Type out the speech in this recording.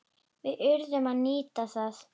Við urðum að nýta það.